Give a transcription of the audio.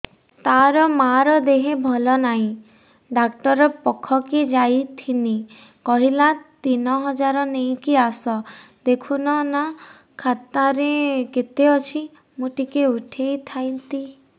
ତାର ମାର ଦେହେ ଭଲ ନାଇଁ ଡାକ୍ତର ପଖକେ ଯାଈଥିନି କହିଲା ତିନ ହଜାର ନେଇକି ଆସ ଦେଖୁନ ନା ଖାତାରେ କେତେ ଅଛି ମୁଇଁ ଟିକେ ଉଠେଇ ଥାଇତି